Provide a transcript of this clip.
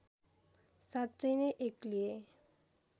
साँच्चै नै एक्लिए